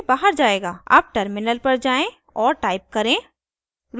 अब टर्मिनल पर जाएँ और टाइप करें